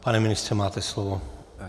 Pane ministře, máte slovo.